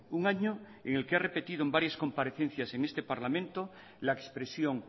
un año en el que ha repetido en varias comparecencias en este parlamento la expresión